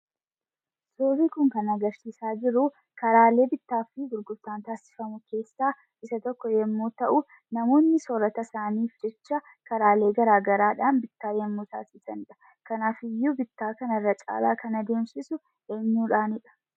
Suurri kun kan agarsiisaa jiru, karaalee bittaafi gurgurtaan taasifamu keessaa isa tokko yammuu ta'u, namoonni sorata isaaniif jecha karaalee gara garaadhaan bittaa yammuu taasisanidha. Kanaafiyyuu bittaa kana irra caalaa kan ademsiisu eenyudha?